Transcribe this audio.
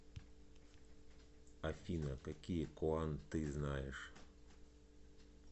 афина какие коан ты знаешь